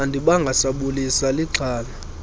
andibanga sabulisa lixhala